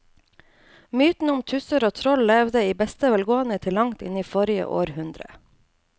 Mytene om tusser og troll levde i beste velgående til langt inn i forrige århundre.